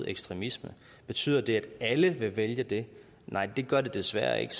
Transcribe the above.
af ekstremisme betyder det at alle vil vælge det nej det gør det desværre ikke